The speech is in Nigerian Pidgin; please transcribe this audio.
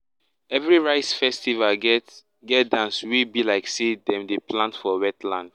crop celebration join family together with the same song and farming dance.